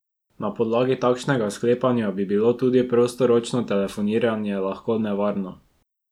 Na podlagi takšnega sklepanja bi bilo tudi prostoročno telefoniranje lahko nevarno.